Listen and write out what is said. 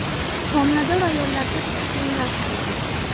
Homilador ayollarga qishki kiyimlar tanlaymiz.